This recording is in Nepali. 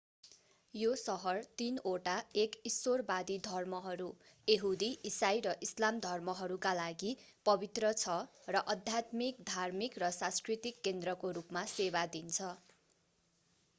यो सहर तिनवटा एक ईश्वरवादी धर्महरू यहुदी इसाई र इस्लाम धर्महरूका लागि पवित्र छ र आध्यात्मिक धार्मिक र सांस्कृतिक केन्द्रको रूपमा सेवा दिन्छ